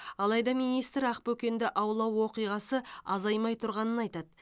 алайда министр ақбөкенді аулау оқиғасы азаймай тұрғанын айтады